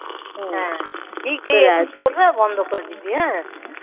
বন্ধ করে দিবি হ্যাঁ